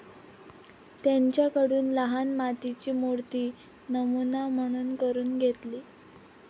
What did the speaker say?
त्यांच्याकडून लहान मातीची मूर्ती नमुना म्हणून करून घेतली.